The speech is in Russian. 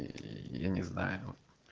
ии я не знаю